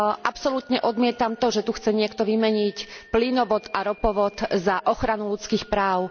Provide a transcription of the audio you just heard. Absolútne odmietam to, že tu chce niekto vymeniť plynovod a ropovod za ochranu ľudských práv.